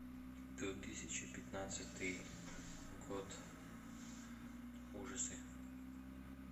две тысячи пятнадцатый год ужасы